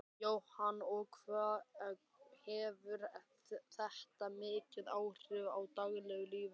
Jóhann: Og hefur þetta mikil áhrif á daglegt líf?